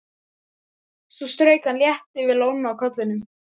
Svo strauk hann létt yfir lóna á kollinum.